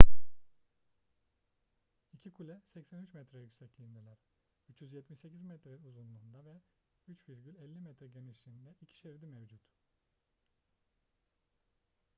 i̇ki kule 83 metre yüksekliğindeler. 378 metre uzunluğunda ve 3,50 metre genişliğinde iki şeridi mevcut